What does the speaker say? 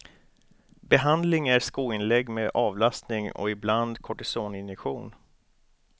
Behandling är skoinlägg med avlastning och ibland kortisoninjektion.